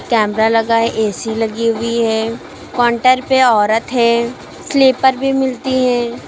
Camera लगा है AC भी लगी हुई है काउंटर पे औरत है स्लीपर भी मिलती हैं।